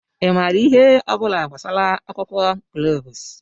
ị maara ihe ọ bụla gbasara akwụkwọ gloves?